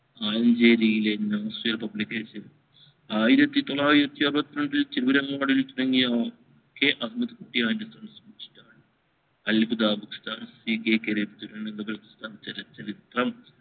മഞ്ചേരിലെ നോയ്‌സിയ publishers ആയിരത്തി തൊള്ളായിരത്തി ആറുവത്തി രണ്ടിൽ തിരൂരങ്ങാടിൽ തുടങ്ങിയ K അബ്ദുൽ കുട്ടി ഹാജ്ജി